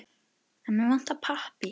En mig vantar pappír.